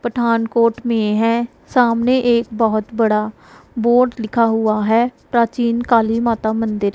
पठानकोट मे है सामने एक बहोत बड़ा बोर्ड लिखा हुआ है प्राचीन काली माता मंदिर।